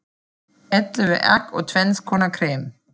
Ellefu egg og tvenns konar krem.